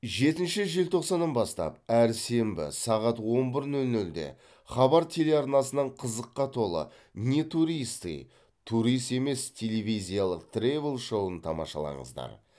жетінші желтоқсаның бастап әр сенбі сағат он бір нөл нөлде хабар телеарнасынан қызыққа толы не туристы турист емес телевизиялық тревел шоуын тамашалаңыздар